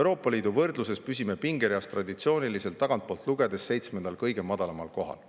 Euroopa Liidu võrdluses püsime pingereas traditsiooniliselt tagantpoolt lugedes seitsmendal, kõige madalamal kohal.